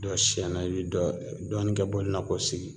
Dɔ sɛnɛ i be dɔ dɔɔni kɛ bɔlinin na k'o sigi